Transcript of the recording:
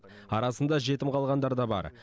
арасында жетім қалғандар да бар